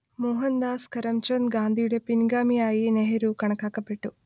മോഹൻദാസ് കരംചന്ദ് ഗാന്ധിയുടെ പിൻഗാമിയായി നെഹ്റു കണക്കാക്കപ്പെട്ടു